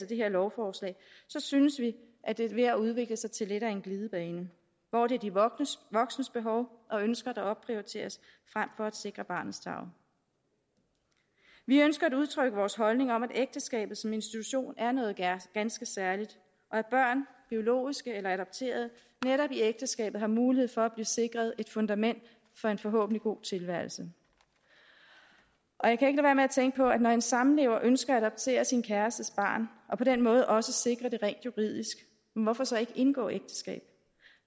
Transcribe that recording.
det her lovforslag synes vi at det er ved at udvikle sig til lidt af en glidebane hvor det er de voksnes voksnes behov og ønsker der opprioriteres frem for at sikre barnets tarv vi ønsker at udtrykke vores holdning om at ægteskabet som institution er noget ganske særligt og at børn biologiske eller adopterede netop i ægteskabet har mulighed for at blive sikret et fundament for en forhåbentlig god tilværelse jeg kan ikke lade være med at tænke på at når en samlever ønsker at adoptere sin kærestes barn og på den måde også sikre det rent juridisk hvorfor så ikke indgå ægteskab